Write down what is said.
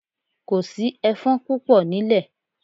Kò sí ẹfọ́n púpọ̀ nílẹ̀.